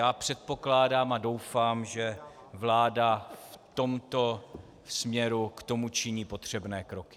Já předpokládám a doufám, že vláda v tomto směru k tomu činí potřebné kroky.